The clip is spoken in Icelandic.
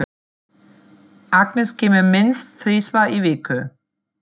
Agnes kemur minnst þrisvar í viku.